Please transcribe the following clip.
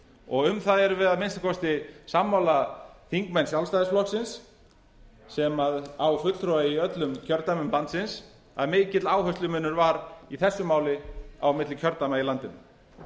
og um það erum við að minnsta kosti sammála þingmenn sjálfstæðisflokksins sem á fulltrúa í öllum kjördæmum landsins að mikill áherslumunur varð í þessu máli á milli kjördæma í landinu